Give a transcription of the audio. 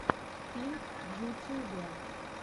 пинк в ютюбе